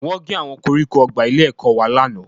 Wọ́n gé àwọn koríko ọgbà ilé-ẹ̀kọ́ wa lánàá